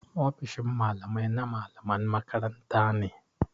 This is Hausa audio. Ofishin Mallamai na mallaman makaranta ne.